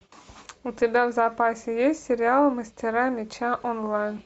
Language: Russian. у тебя в запасе есть сериал мастера меча онлайн